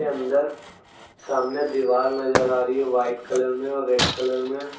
अंदर सामने दीवाल नजर आ रही है वाइट कलर में और रेड कलर में।